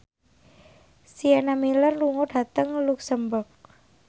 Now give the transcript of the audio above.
Sienna Miller lunga dhateng luxemburg